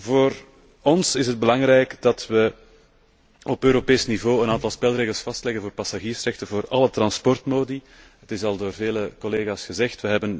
Voor ons is het belangrijk dat we op Europees niveau een aantal spelregels vastleggen voor passagiersrechten voor alle transportmodi het is al door vele collega's gezegd.